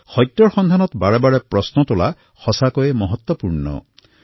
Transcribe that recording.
সত্য উদঘাটনৰ বাবে বাৰে বাৰে প্ৰশ্ন কৰাৰ ভাৱনা মহত্বপূৰ্ণ হয়